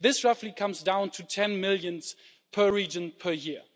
This roughly comes down to 10 million per region, per year.